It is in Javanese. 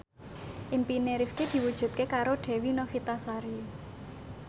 impine Rifqi diwujudke karo Dewi Novitasari